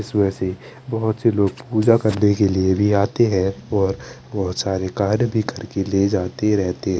इसमें से बोहोत से लोग पूजा करें के लिए भी आते है और बोहोत सारे कार्ड बिखरके लेके जाते रहते है।